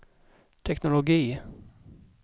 teknologi